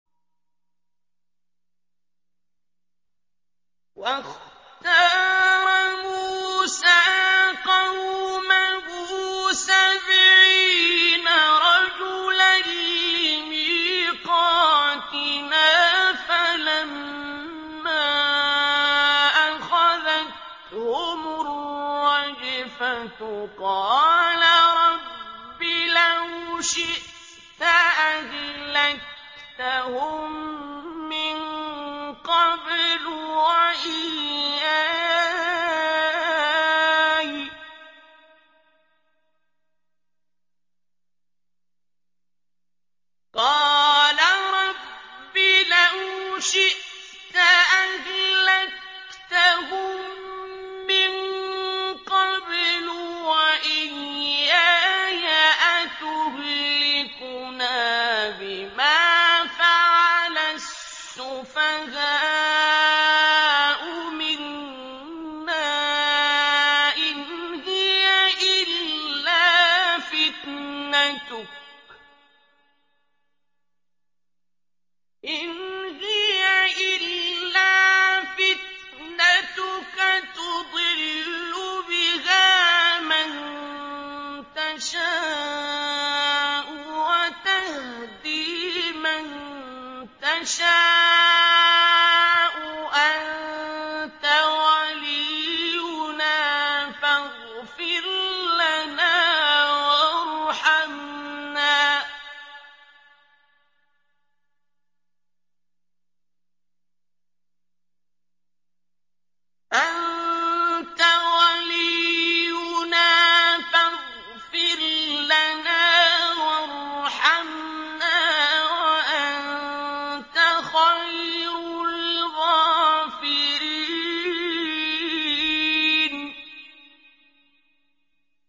وَاخْتَارَ مُوسَىٰ قَوْمَهُ سَبْعِينَ رَجُلًا لِّمِيقَاتِنَا ۖ فَلَمَّا أَخَذَتْهُمُ الرَّجْفَةُ قَالَ رَبِّ لَوْ شِئْتَ أَهْلَكْتَهُم مِّن قَبْلُ وَإِيَّايَ ۖ أَتُهْلِكُنَا بِمَا فَعَلَ السُّفَهَاءُ مِنَّا ۖ إِنْ هِيَ إِلَّا فِتْنَتُكَ تُضِلُّ بِهَا مَن تَشَاءُ وَتَهْدِي مَن تَشَاءُ ۖ أَنتَ وَلِيُّنَا فَاغْفِرْ لَنَا وَارْحَمْنَا ۖ وَأَنتَ خَيْرُ الْغَافِرِينَ